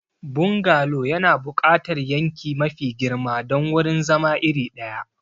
Bungalow yana buƙatar yanki mafi girma don wurin zama iri ɗaya.